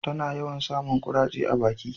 ta na yawan samun kuraje a baki